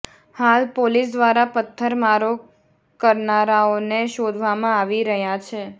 હાલ પોલીસ દ્વારા પત્થરમારો કરનારાઓને શોધવામાં આવી રહ્યાં છે